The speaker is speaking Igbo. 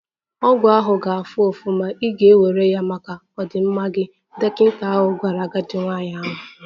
Ọgwụ ahụ ga-afụ ụfụ, ma ị ga-ewere ya maka ọdịmma gị, dọkịta gwara agadi nwanyị ahụ.